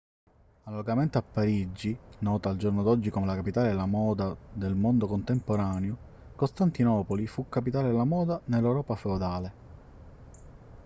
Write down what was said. analogamente a parigi nota al giorno d'oggi come la capitale della moda del mondo contemporaneo costantinopoli fu capitale della moda nell'europa feudale